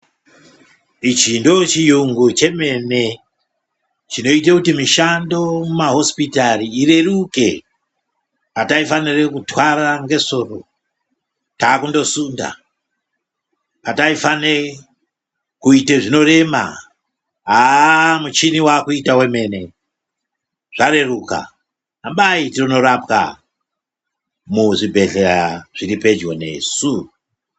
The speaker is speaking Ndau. Ichi ndochiyungu chemene chinoita kuti mishando mumahosipitari ireruke. Hataifanire kutwara ngesoro takutosunda. Pataifane kuite zvinorema haa muchini wavakuita wemene zvareruka . Hambai tindorapwa muzvibhedhlera zviripedyo nesu.